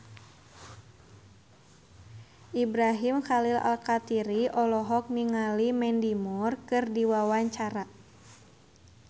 Ibrahim Khalil Alkatiri olohok ningali Mandy Moore keur diwawancara